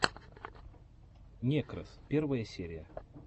некрос первая серия